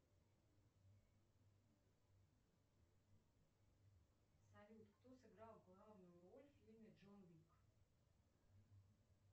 салют кто сыграл главную роль в фильме джон уик